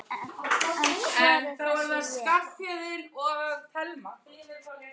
En hvar er þessi vél?